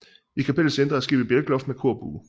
I kapellets indre har skibet bjælkeloft med korbue